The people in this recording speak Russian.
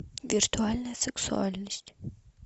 виртуальная сексуальность